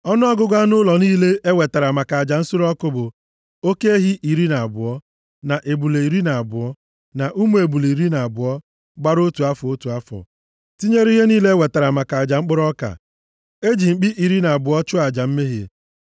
Ọnụọgụgụ anụ ụlọ niile e wetara maka aja nsure ọkụ bụ: oke ehi iri na abụọ, na ebule iri na abụọ, na ụmụ ebule iri na abụọ gbara otu afọ, otu afọ, tinyere ihe niile ha wetara maka aja mkpụrụ ọka. E ji mkpi iri na abụọ chụọ aja mmehie.